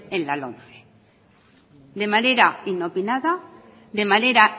en la lomce de manera inopinada de manera